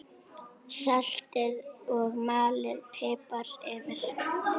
Saltið og malið pipar yfir.